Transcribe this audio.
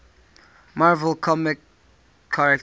marvel comics characters